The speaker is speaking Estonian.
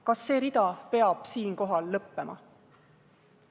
Kas see rida peab siinkohal lõppema?